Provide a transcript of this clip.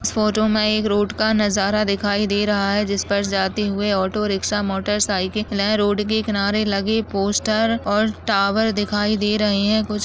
इस फोटो में एक रोड का नज़ारा दिखाई दे रहा है जिस पर जाते हुए ऑटो रिक्शा मोटर साइकिल नए रोड के किनारे लगे पोस्टर और टावर दिखाई दे रहे हैं| कुछ --